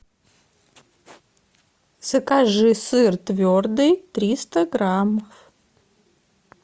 закажи сыр твердый триста грамм